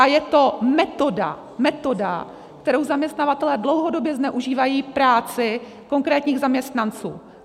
A je to metoda - metoda - kterou zaměstnavatelé dlouhodobě zneužívají práci konkrétních zaměstnanců.